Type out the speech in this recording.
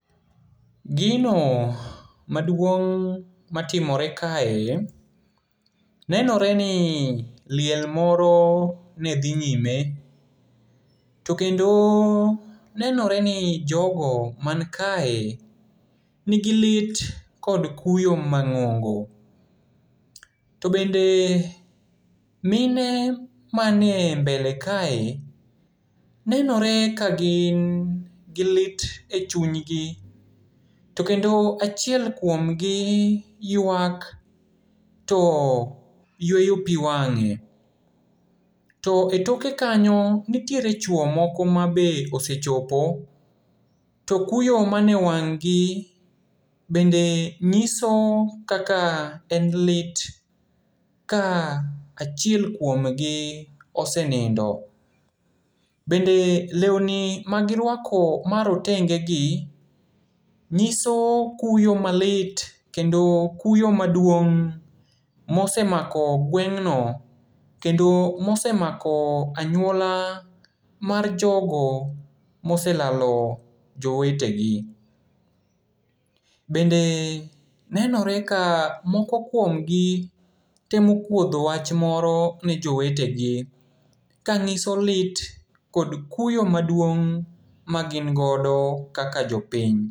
Gino maduong' matimore kae, nenoreni liel moro nedhi nyime. To kendo nenoreni jogo mankae nigi lit kod kuyo mang'ongo. To bende mine manie mbele kae, nenore ka gin gi lit e chuny gi, to kendo achiel kuomgi yuak to yueyo piwang'e. To e toke kanyo nitiere chuo moko mabe osechopo, to kuyo mane e wang' gi bende ng'iso kaka en lit ka achiel kuomgi osenindo. Bende leuni magiruako marotengegi ng'iso kuyo malit kendo kuyo maduong' mosemako ng'wengno kendo mosemako anyuola mar jogo moselalo jowetegi. Bende nenore ka moko kuomgi temo kuodho wach moro ne jowetegi, ka ng'iso lit kod kuyo maduong' magin godo kaka jopiny.